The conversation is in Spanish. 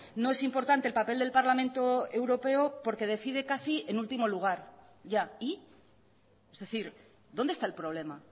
no es importante el papel del parlamento europeo porque decide casi en último lugar ya y es decir dónde está el problema